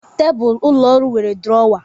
Tebụl ụlọ ọrụ nwere duruowa